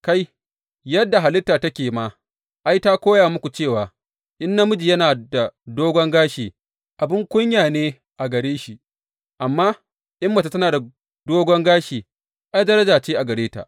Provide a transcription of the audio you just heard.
Kai, yadda halitta take ma, ai, ta koya muku cewa in namiji yana da dogon gashi, abin kunya ne a gare shi, amma in mace tana da dogon gashi, ai, daraja ce a gare ta.